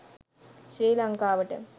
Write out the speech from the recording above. ශ්‍රී ලංකාවට